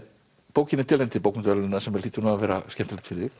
bókin er tilnefnd til bókmenntaverðlauna sem hlýtur að vera skemmtilegt fyrir þig